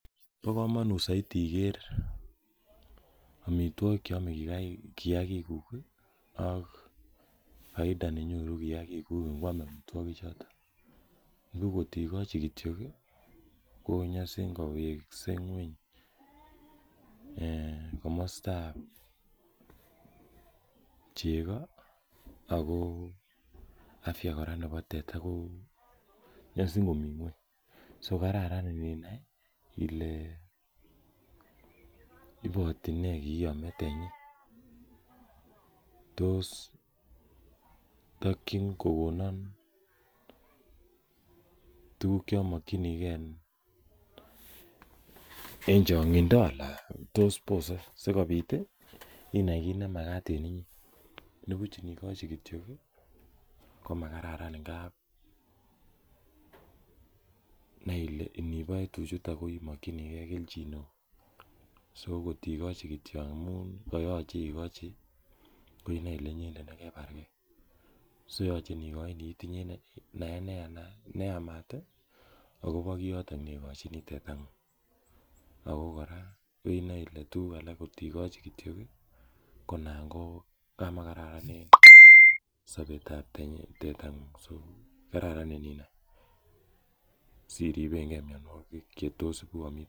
Bo komonut soiti iger omitwogik cheome kiagikuk ii ak faida nenyoru kiagikuk ingwam omitwogichoton, nibuch ng'ot igochi kityok ii konyosin kowekse nyweny komostab chego ako afya kora nebo teta ko nyosin komi nyweny so kararan ininai ile iboti nee kii ome tenyi, tos tokyin kogonon tuguk chomokyinigen en chong'indo ala bose sikobit inai kiit nemagat en inyee, nibuch inigochi kityok ii komagararan ingab nai ile iniboe tuchutok koimokyinigen kelchin neo so ingotigochi kityo amun kayoche igochi ko inoe ile inyendet negebargen so yoche inigochini itinye naet neyamat ii agobo kiyoton neigochini tetang'ung ako kora inoe ile tuguk alak kotigochi kityok ii koinango kamakararan en sobet ab tetang'ung so kararan ininai siribenge mionwogik che tos ibu omitwogik.